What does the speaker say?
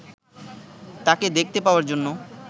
তাঁকে দেখতে পাওয়ার জন্য